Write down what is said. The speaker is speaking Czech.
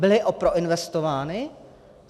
Byly proinvestovány?